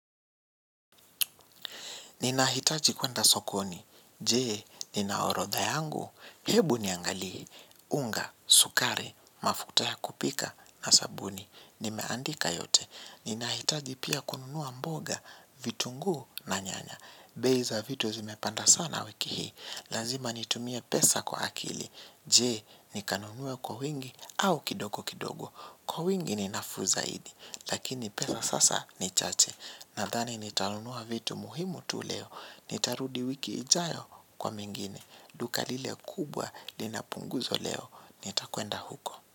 Ninahitaji kuenda sokoni, jee, nina orodha yangu, hebu niangalie, unga, sukari, mafuta ya kupika na sabuni. Nimeandika yote, ninahitaji pia kununua mboga, vitunguu na nyanya. Bei za vitu zimepanda sana wiki hii, lazima nitumie pesa kwa akili, jee, nikanunue kwa wingi au kidogo kidogo. Kwa wingi ni nafuu zaidi, lakini pesa sasa ni chache. Nadhani nitanunua vitu muhimu tu leo. Nitarudi wiki ijayo kwa mengine. Duka lile kubwa linapunguzwa leo. Nitakwenda huko.